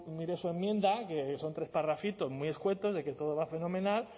su enmienda que son tres parrafitos muy escuetos de que todo va fenomenal